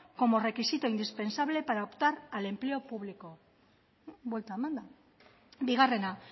como requisito indispensable para optar al empleo público buelta emanda bigarrena